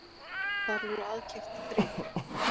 Þar eru aðkeypt þrif